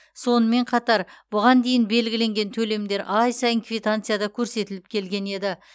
сонымен қатар бұған дейін белгіленген төлемдер ай сайын квитанцияда көрсетіліп келген еді